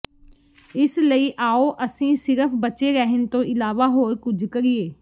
ਇਸ ਲਈ ਆਓ ਅਸੀਂ ਸਿਰਫ ਬਚੇ ਰਹਿਣ ਤੋਂ ਇਲਾਵਾ ਹੋਰ ਕੁਝ ਕਰੀਏ